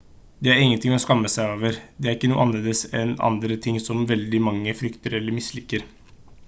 det er ingenting å skamme seg over det er ikke noe annerledes enn andre ting som veldig mange frykter eller misliker